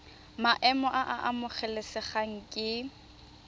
maemo a a amogelesegang ke